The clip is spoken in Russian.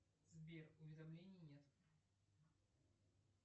сбер уведомлений нет